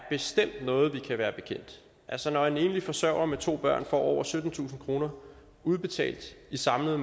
noget vi kan være bekendt altså når en enlig forsørger med to børn får over syttentusind kroner udbetalt i samlede